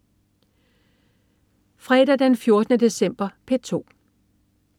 Fredag den 14. december - P2: